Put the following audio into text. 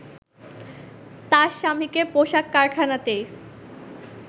তার স্বামীকে পোশাক কারখানাতেই